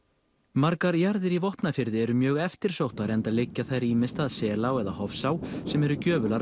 margar jarðir í Vopnafirði eru mjög eftirsóttar enda liggja þær ýmist að Selá eða Hofsá sem eru gjöfular